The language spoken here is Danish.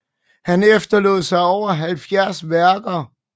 Han efterlod sig over 70 værker